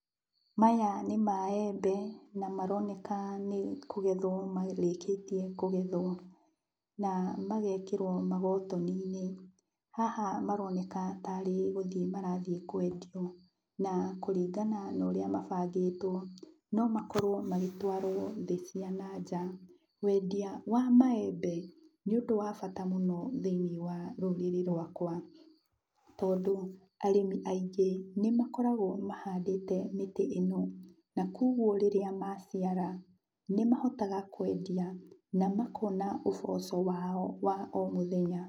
Maya nĩ maembe na maroneka nĩ kũgethwo marĩkĩtie kũgethwo, na magekĩrwo magotoni-inĩ. Haha maroneka tarĩ gũthiĩ marathiĩ kwendio, na kũringana na ũrĩa mabangĩtwo, no makorwo magĩtwarwo thĩ cia na nja. Wendia wa maembe, nĩ ũndũ wa bata mũno thĩiniĩ wa rũrĩrĩ rwakwa, tondũ arĩmi aingĩ nĩmakoragwo mahandĩte mĩtĩ ĩno, na kuoguo rĩrĩa maciara, nĩmahotaga kwendia na makona ũboco wao wa o mũthenya.